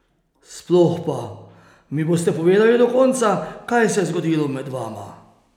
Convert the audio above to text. Sploh pa, mi boste povedali do konca, kaj se je zgodilo med vama?